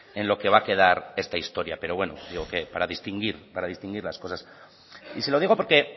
en lo que va a quedar esta historia pero bueno digo que para distinguir para distinguir las cosas y se lo digo porque